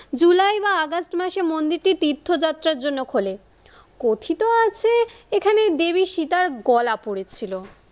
জুলাই বা আগস্ট মাসে মন্দিরটি তীর্থ যাত্রার জন্য খোলে। কথিত আছে এখানে দেবী সীতার গলা পড়েছিল।